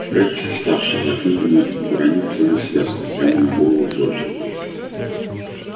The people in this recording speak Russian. фред вставший за книгами уронил целую связку прямо на голову джорджу